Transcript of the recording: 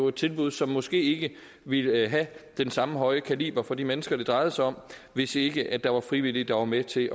et tilbud som måske ikke ville have den samme høje kaliber for de mennesker det drejer sig om hvis ikke der var frivillige der var med til